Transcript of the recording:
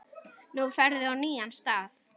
Nú ferðu á nýjan stað.